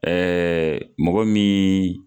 mɔgɔ min.